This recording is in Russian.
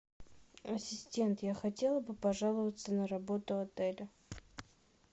ассистент я хотела бы пожаловаться на работу отеля